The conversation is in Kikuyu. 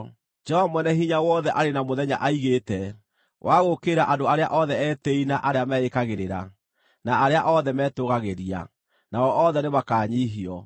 Jehova Mwene-Hinya-Wothe arĩ na mũthenya aigĩte wa gũũkĩrĩra andũ arĩa othe etĩĩi na arĩa meĩkagĩrĩra, na arĩa othe metũũgagĩria (nao othe nĩmakanyiihio),